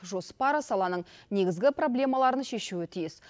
жоспар саланың негізгі проблемаларын шешуі тиіс